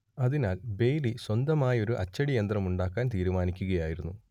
അതിനാൽ ബെയ്‌ലി സ്വന്തമായി ഒരു അച്ചടിയന്ത്രം ഉണ്ടാക്കാൻ തീരുമാനിക്കുകയായിരുന്നു